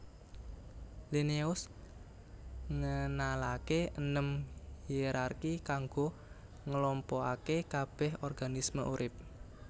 Linneaus ngenalaké enem hierarki kanggo nglompokaké kabèh organisme urip